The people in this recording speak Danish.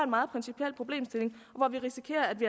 meget principiel problemstilling hvor vi risikerer at vi